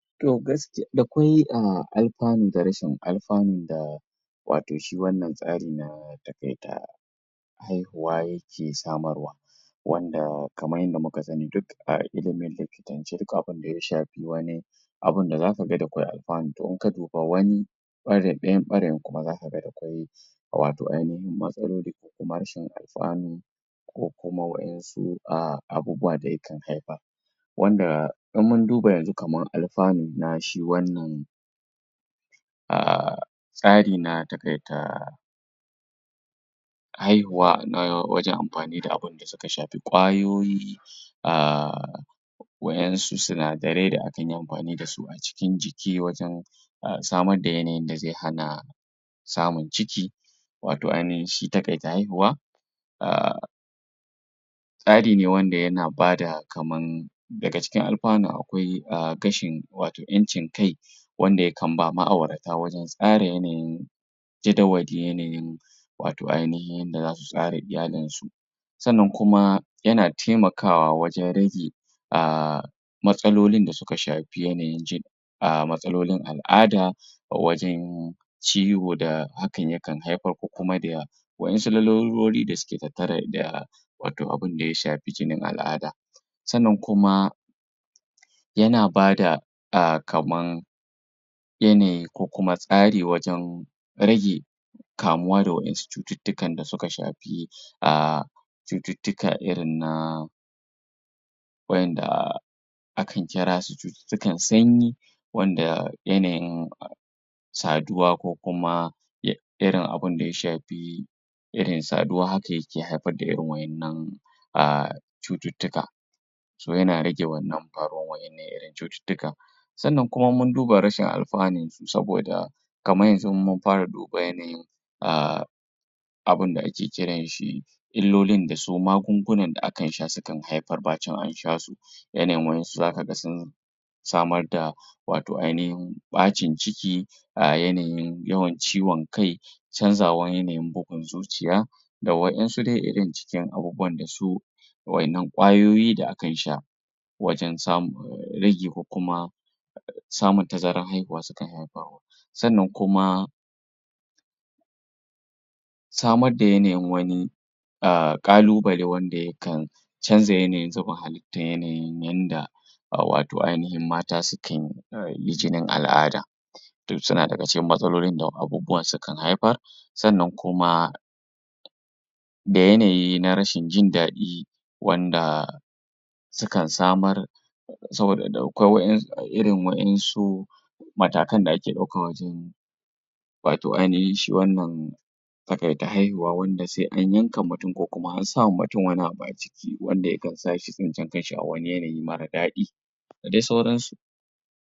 To gask? dakwai um alfanu da rashin alfanu da wato shi wannan tsari na taƙaita haihuwa yake samarwa wanda kamar yanda muka sani duk a ilimin likitance, duk abinda ya shafi wani abinda zakaga dakwai alfanu, to inka duba wani ɓarayi, ɗayan ɓarayin kuma zakaga dakwai wato ainihin matsaloli ko kuma rashin alfanu ko kuma waƴansu um, abubuwa da yakan haifar wanda in mun duba yanzu kamar alfanu na shi wannan um tsari na taƙaita haihuwa, na wajen amfani da abinda suka shafi ƙwayoyi um waƴansu sinadarai da akan yi amfani dasu a cikin jiki wajen samar da yanayin da zai hana samun ciki wato ainihin shi taƙaita haihuwa um tsari ne wanda yana bada kaman daga cikin alfanun akwai um gashin wato ƴancin kai wanda ya kan bawa ma'aurata wajen tsara yanayin jadawal yanayin wato ainihin yanda zasu tsara iyalin su sannan kuma yana taimakawa wajen rage um matsalolin da suka shafi yanayin jin um matsalolin al'ada a wajen ciwo da hakan yakan haifar, ko kuma da waƴansu larurori da suke tattare da wato abinda ya shafi jinin al'ada sannan kuma yana bada um kamar yanayi ko kuma tsari wajen rage kamuwa da waƴansu cututtukan da suka shafi um cututtuka irin na waƴanda akan kira su cututtukan sanyi wanda yanayin saduwa, ko kuma um irin abinda ya shafi irin saduwa haka, yake haifar da irin waƴannan um cututtuka so, yana rage wannan faruwan waƴannan irin cututtukan sannan kuma in mun duba rashin alfanun su, saboda kamar yanzu in mun fara duba yanayin um abinda ake kiran shi illolin da su magungunan da akan sha sukan haifar bacin an sha su yanayin waƴansu zakaga sun samar da wato ainihin ɓacin ciki um, yanayin yawan ciwon kai canzawar yanayin bugun zuciya da waƴansu dai irin cikin abubuwan da su waƴannan ƙwayoyi da akan sha wajen samu um ragi, ko kuma samun tazarar haihuwa sukan haifawa wasu sannan kuma samar da yanayin wani um ƙalubale wanda yakan canza yanayin zubin halitta yanayin yanda um wato ainihin mata sukan yi jinin al'ada duk suna daga cikin matsalolin da abubuwan sukan haifar sannan kuma da yanayi na rashin jin daɗi wanda sukan samar saboda? dakwai waƴan irin waƴansu matakan da ake ɗauka wajen wato ainihin shi wannan taƙaita haihuwa, wanda sai an yanka mutum ko kuma an sawa mutum wani abu a jiki wanda yakan sa shi tsintar kanshi a wani yanayi mara daɗi da dai sauransu.